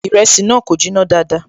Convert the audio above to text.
Ìrẹsì náà kò jiná dáadáa